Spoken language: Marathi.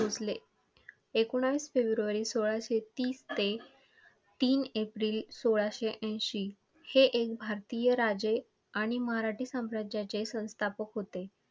भोसले! एकोणीस फेब्रुवारी सोळाशे तीस ते तीन एप्रिल सोळाशे ऐंशी, हे एक भारतीय राजें आणि मराठी स्वराज्याचे संस्थापक होते.